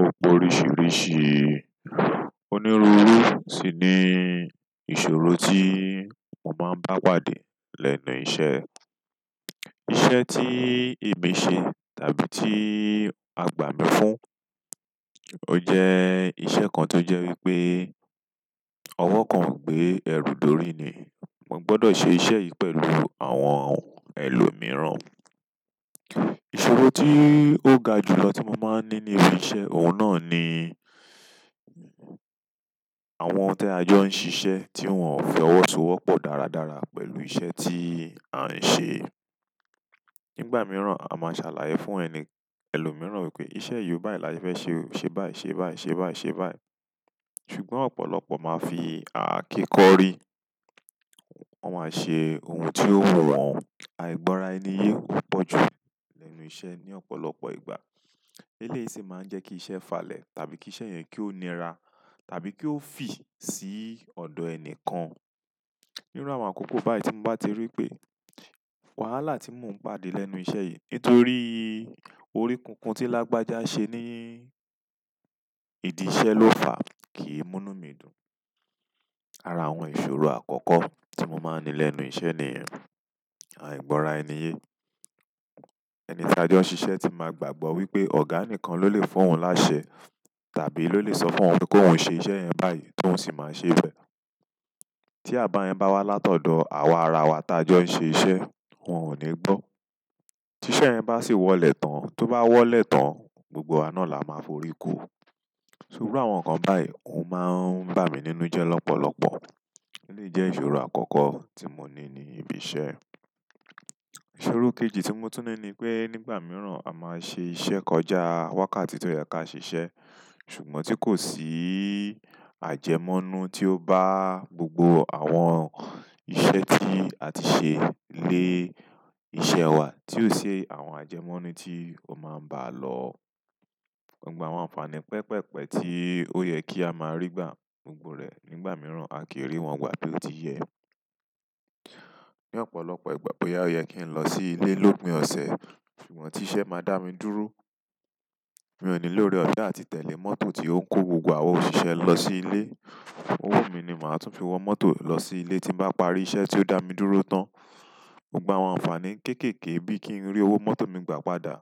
Ó poríṣìíríṣìí onírúurú sì ni ìṣòro tí mo máa ń bá pàdé lẹ́nu iṣẹ́. Iṣẹ́ tí èmi ṣe tàbí tí a gbà mí fún, o jẹ́ iṣẹ́ kan tó jẹ́ wípé ọwọ́ kan ò gbé ẹrù dorí ni. Mo gbọdọ̀ ṣe iṣẹ́ yìí pẹ̀lú àwọn ẹlòmíràn. Ìṣòro tí ó ga jù lọ tí mo máa ń ní ní ibi iṣẹ́, òun náà ni àwọn tí a jọ́ ń ṣiṣẹ́ tí wọ́n ò fi ọwọ́ so wọ́pọ̀ dáradára pẹ̀lú iṣẹ́ tí a ń ṣe. Nígbà mìíràn, a máa ṣàlàyé fún ẹni ẹlòmíràn wípé iṣẹ́ yìí ó báyi, láyé fẹ́ ṣe báyi, ṣe báyi, ṣe báyi, ṣe báyi. Ṣùgbọ́n ọ̀pọ̀lọpọ̀ máa fi ààké kọrí, wọ́n máa ṣe ohun tí ó wù wọ́n. Àìgbọ́ra ẹni yé ó pọ̀ jù lẹ́nu iṣẹ́ ní ọ̀pọ̀lọpọ̀ ìgbà. Eléyìí sì máa ń jẹ́ kí iṣẹ́ falẹ̀ tàbí kí iṣẹ́ yẹn kí ó nira tàbí kí ó fì sí ọ̀dọ̀ ẹni kan. Nírú àwọn àkókò báyìí tí mo bá ti rí pé wàhálà tí mò ń pàdé lẹ́nu iṣẹ́ yìí nítorí orígun kan tí lágbájá ṣe ní ìdí iṣẹ́ ló fà kì í múnú mí dùn. Ara àwọn ìṣòro àkọ́kọ́ tí mo máa ń ní lẹ́nu iṣẹ́ ni ẹ́, àìgbọ́ra ẹni yé. Ẹni táa ajọ ń ṣiṣẹ́ tí máa gbàgbọ́ wípé ọ̀gá nìkan ló lè fún òun láṣẹ tàbí ló lè sọ fún òun wípé kó hun ṣe iṣẹ́ yẹn báyìí tóun sì máa ṣe é bẹ. Tí àbá yẹn bá wá látọ̀dọ̀ àwa ara wa tí ajọ ń ṣe iṣẹ́, wọn ò ní gbọ́. Tí iṣẹ́ yẹn bá sì wọlẹ̀ tan, tó bá wọ́lẹ̀ tán, gbogbo wa náà la máa forí kó o. Ṣùgbọ́n àwọn nǹkan báyìí òun máa ń ba mi nínú jẹ́ lọ́pọ̀lọpọ̀. Eléyìí jẹ́ ìṣòro àkọ́kọ́ tí mo ní ní ibi iṣẹ́. Ìṣòro kejì tí mo tú ní ni pé nígbà mìíràn a máa ṣe iṣẹ́ kọjá wákàtí tó yẹ kí a ṣe iṣẹ́, ṣùgbọ́n tí kò sí àjẹmọ́nú tí ó bá gbogbo àwọn iṣẹ́ tí a ti ṣe lé iṣẹ́ wa, tí ò ṣe àwọn àjẹmọ́nú tí ó máa ń bá lọ, gbogbo àwọn ànfàní pẹpẹ́pẹ tí ó yẹ kí a máa rí gbà gbogbo rẹ̀ nígbà mìíràn, a kì í rí wọn wá bí ó ti yẹ. Ní ọ̀pọ̀lọpọ̀ ìgbà pé yóò yẹ kí n lọ sí ilé lópin ọ̀sẹ̀, ṣùgbọ́n tí iṣẹ́ máa dá mi dúró, mi ò ní lóóre ọ̀fẹ́ àti tẹ̀le mọ́tò tí ó ń kó gbogbo àwọn òṣìṣẹ́ lọ sí ilé. Owó mí ni màá tún fi wọ mọ́tò lọ sí ilé tí m bá parí iṣẹ́ tí ó dá mi dúró tán. Gbogbo àwọn ànfàní kéékèèké bíi kí n rí owó mọ́tò mi gbà padà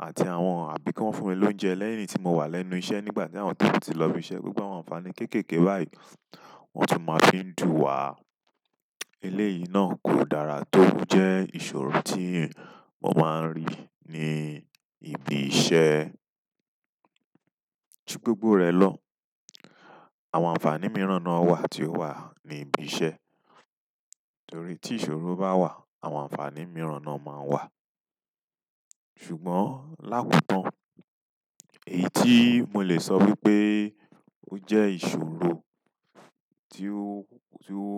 àti àwọn àbí kí wọ́n fún mi lóúnjẹ lẹ́yìn tí mo wà lẹ́nu iṣẹ́ nígbà tí àwọn tí ó kù ti lọ ibi iṣẹ́, gbogbo àwọn ànfàní kéékèèké báyìí wọn sì máa ń fi dù wá. Eléyìí náà kò dára, tóun jẹ́ ìṣòro tí mo máa ń rí ní ibi iṣẹ́. Ju gbogbo rẹ̀ lọ, àwọn ànfàní mìíràn náà wà tí ó wà ní ibi iṣẹ́. Nítorí tí ìṣòro bá wà, àwọn ànfàní mìíràn náà máa ń wà. Ṣùgbọ́n lápapọ̀, èyí tí mo lè sọ wípé ó jẹ́ ìṣòro tí ó, tí ó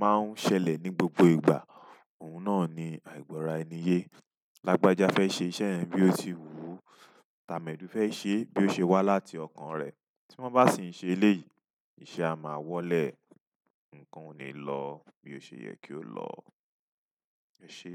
máa ń ṣẹlẹ̀ ní gbogbo ìgbà, òun náà ni àìgbọ́ra ẹni yé. Lágbájá fẹ́ ṣe iṣẹ́ yẹn bí ó ti wù ú, tàmẹ́dù fẹ́ ṣe é bí ó ṣe wà láti ọkàn rẹ̀. Tí wọ́n bá sì ń ṣe eléyìí, iṣẹ́ a máa wọlé, nǹkan ò ní lọ bí ó ṣe yẹ kí ó lọ. Ẹ ṣé.